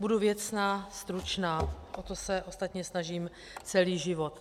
Budu věcná, stručná, tak jak se ostatně snažím celý život.